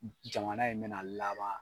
Jamana in bɛna laban